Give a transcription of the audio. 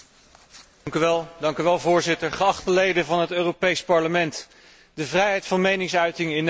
Voorzitter, geachte leden van het Europees Parlement, de vrijheid van meningsuiting in Nederland staat onder zware druk.